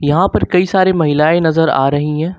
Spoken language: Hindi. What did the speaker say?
यहां पर कई सारे महिलाएं नजर आ रही हैं।